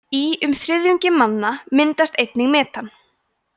í um þriðjungi manna myndast einnig metan